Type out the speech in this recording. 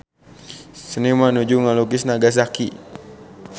Seniman nuju ngalukis Nagasaki